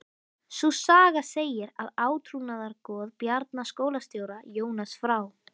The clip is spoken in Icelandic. Sú saga segir að átrúnaðargoð Bjarna skólastjóra, Jónas frá